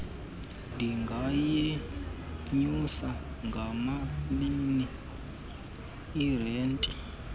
ndingayenyusa ngamalini irente